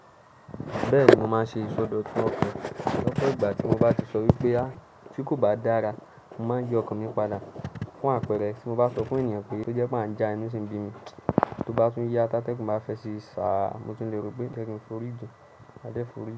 Bẹ́ẹ̀ni mo máa ń ṣe ìsọdọ̀tun ọkan lọ́pọ ìgbà tí mo bá ti sọ wípé tí kò bá dára, mo máa ń yi ọkan mi padà. Fún àpẹ̀rẹ̀ tí mo bá sọ fún ènìyàn pé tó jẹ́ pé a ń já inu sì ń bi mi, tó bá tún yá tá tẹ́gùn bá fẹ́ sì sá, mo tún lè rò pé je ki ń forí ji máa dé forí.